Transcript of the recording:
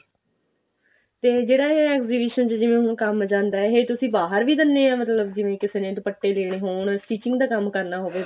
ਤੇ ਜਿਹੜਾ ਇਹ exhibition ਚ ਜਿਵੇਂ ਹੁਣ ਕੰਮ ਜਾਂਦਾ ਇਹ ਤੁਸੀਂ ਬਾਹਰ ਵੀ ਦਿਨੇ ਆ ਮਤਲਬ ਜਿਵੇਂ ਕਿਸੇ ਨੇ ਦੁਪੱਟੇ ਦੇਣੇ ਹੋਣ stitching ਦਾ ਕੰਮ ਕਰਨਾ ਹੋਵੇ